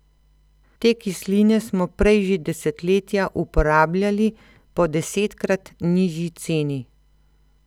Te kisline smo prej že desetletja uporabljali po desetkrat nižji ceni.